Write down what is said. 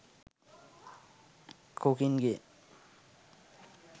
cooking game